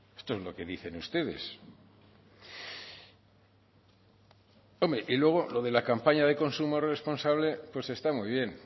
esto es lo que dicen ustedes hombre y luego lo de la campaña de consumo responsable pues está muy bien